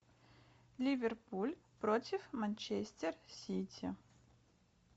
ливерпуль против манчестер сити